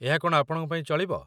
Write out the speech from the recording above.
ଏହା କ'ଣ ଆପଣଙ୍କ ପାଇଁ ଚଳିବ?